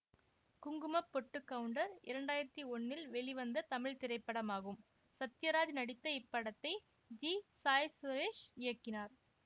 குங்குமப்பொட்டுக்கவுண்டர் இரண்டு ஆயிரத்தி ஒன்னில் வெளிவந்த தமிழ் திரைப்படமாகும் சத்யராஜ் நடித்த இப்படத்தை ஜி சாய்சுரேஷ்இயக்கினார்